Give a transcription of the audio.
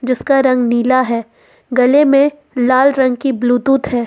जिसका रंग नीला है गले में लाल रंग की ब्लूटूथ है।